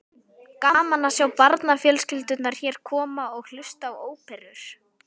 Gaman að sjá barnafjölskyldurnar hér koma og hlusta á óperur.